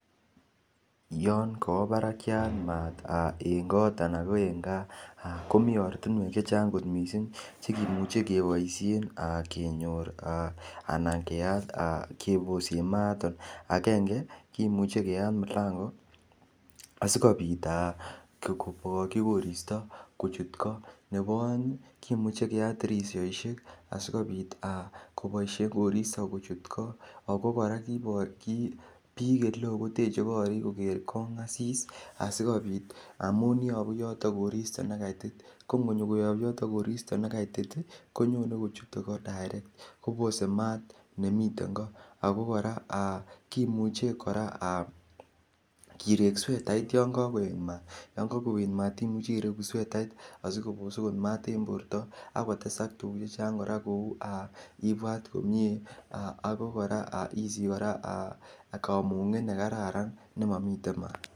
Yon kawa parakyat maat eng' kot anan eng' gaa komi ortinwek che chang' missing' che kimuchi kepaishen kenyor anan keyaat kepose maat. Agenge, kimuchi keyat mlangoit asikopit kokachi koristo kochut ko. Nepo aeng' , kimuchi keyat tirishaishoshek asikopit kopaishe koristo kochut ko ako kora kiprachi ole koi koteche koriik koker kong'asis asikopit amun yapu yotok koristo ne kaitit. Ko ngonyikoyap yotok koristo ne kaitit i, konyone kochute ko direct kopose maat nemiten ko. Ako kora kimuche kora kireek swetait yan kakoet maat. Yan kakoet maat imuchi ireku swetatit asikopos maat eng' porto ak kotesak tuguuk che chang' kora ko u ipwat komye akp kora isich kora kamung'et ne kararan ne mamitei maat.